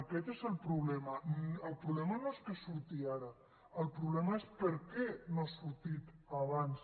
aquest és el problema el problema no és que surti ara el problema és per què no ha sortit abans